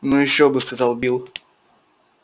ну ещё бы сказал билл